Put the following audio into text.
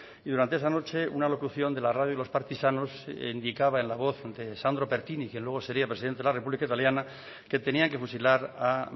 y durante esa noche una locución de la radio de los partisanos indicaba en la voz de sandro pertini quien luego sería presidente de la república italiana que tenían que fusilar a